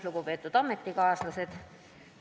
Lugupeetud ametikaaslased!